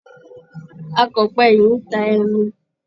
Akọ̀pẹ yìí ń ta ẹmu.